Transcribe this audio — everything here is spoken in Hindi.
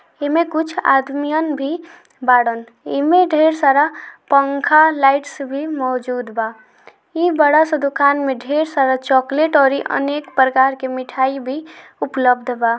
इनमे कुछ आदमी और भी कुछ बाड़न इनमे ढेर सारा पंखा लाईटस भी मौजूद बा इन बड़ा सा दुकान में ढेर सारा चोकलेट और इमें अनेक प्रकार की मिठाई भी उपलब्ध बा।